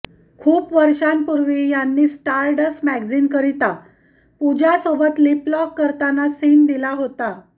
खूप वर्षांपूर्वी यांनी स्टारडस्ट मॅगझीनकरता पूजासोबत लिपलॉक करताना सीन दिला होता